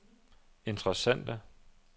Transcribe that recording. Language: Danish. interessante